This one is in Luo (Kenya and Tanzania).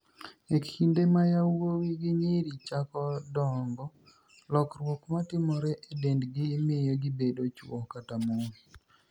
E kinide ma yawuowi gi niyiri chako donigo, lokruok ma timore e denidgi miyo gibedo chwo kata moni.